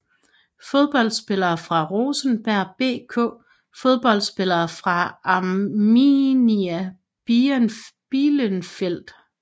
Fodboldspillere fra Rosenborg BK Fodboldspillere fra Arminia Bielefeld